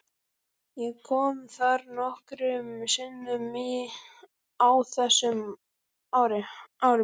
Ég kom þar nokkrum sinnum á þessum árum.